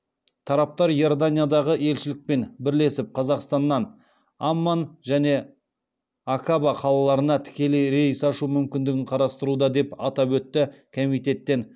тараптар иорданиядағы елшілікпен бірлесіп қазақстаннан амман және акаба қалаларына тікелей рейс ашу мүмкіндігін қарастыруда деп атап өтті комитеттен